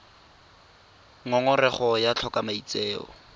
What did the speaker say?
ngongorego ya go tlhoka maitseo